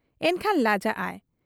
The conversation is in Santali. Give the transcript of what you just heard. ᱮᱱᱠᱷᱟᱱ ᱞᱟᱡᱟᱜ ᱟᱭ ᱾